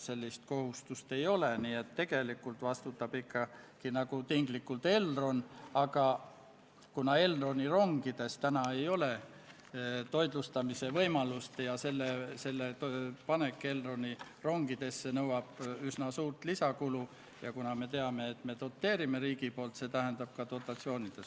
Sellest tulenevalt teeb riigikaitsekomisjon konsensuslikult Riigikogule loomulikult ettepaneku eelnõu teine lugemine lõpetada ning Riigikogu kodu- ja töökorra seaduse §-le 109 tuginedes panna eelnõu lõpphääletusele ja Riigikogu otsusena vastu võtta.